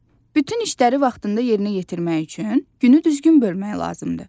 Bütün işləri vaxtında yerinə yetirmək üçün günü düzgün bölmək lazımdır.